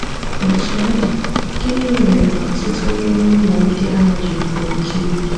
Otú ọ dị, gịnị mere ọtụtụ n’ime ụlọ ndị ahụ ji buo oke ibu?